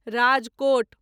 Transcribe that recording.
Rajkot